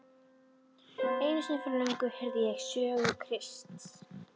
Einu sinni fyrir löngu heyrði ég sögu Krists.